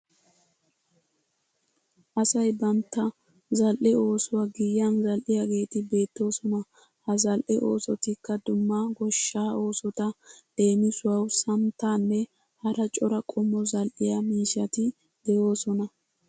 Asay bantta zal'e oosuwa giyan zal'iyageeti beettoosona. Ha zal'e oosotikka dumma goshshaa oosota leemisuwawu sanittaanne hara cora qommo zal'iya miishshati de'oosona.